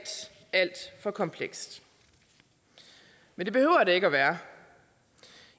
for komplekst men det behøver det ikke være